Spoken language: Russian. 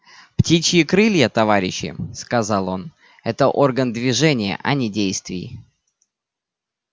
птичьи крылья товарищи сказал он это орган движения а не действий